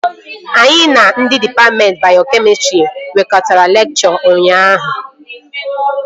Anyị na ndị dịpatmentị bayokemịstrị nkwekọrịtara lekchọ ụnyaahụ